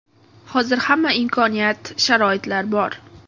Hozir hamma imkoniyat, sharoitlar bor.